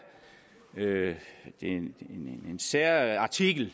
en særartikel